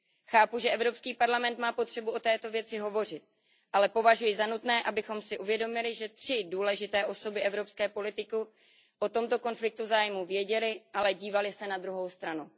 Chápu, že Evropský parlament má potřebu o této věci hovořit, ale považuji za nutné, abychom si uvědomili, že tři důležité osoby evropské politiky o tomto konfliktu zájmů věděly, ale dívaly se na druhou stranu.